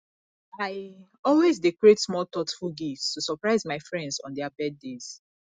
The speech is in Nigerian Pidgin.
i always dey create small thoughtful gifts to surprise my friends on their birthdays